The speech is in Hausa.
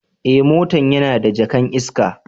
Eh, motan yana da jaka'n iska.